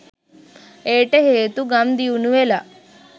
එයට හේතු ගම් දියුණුවෙලා